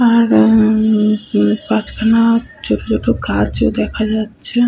আর উমম উম পাঁচখানা ছোট ছোট গাছ ও দেখা যাচ্ছে ।